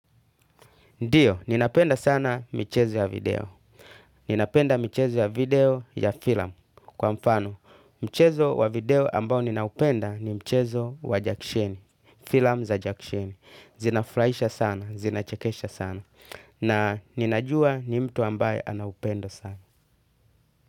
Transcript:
Ndio, ninapenda sana michezo ya video. Ninapenda michezo ya video ya filamu. Kwa mfano, mchezo wa video ambao ninaupenda ni mchezo wa jackisheni. Filamu za jakisheni zinafurahisha sana, zinachekesha sana. Na ninajua ni mtu ambaye anaupendo sana.